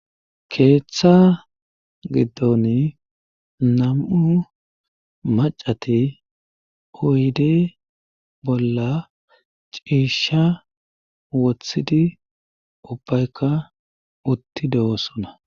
Keeththa giddon nam'u macati oyde bolla ciisha wothidi ubbaykka utti de'osuna.